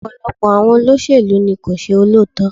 Ọ̀pọ̀lọpọ̀ àwọn olóṣèlú ni kò ṣe olóòótọ́.